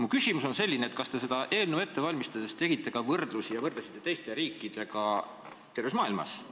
Mu küsimus on selline: kas te seda eelnõu ette valmistades võrdlesite meie riiki teiste riikidega terves maailmas?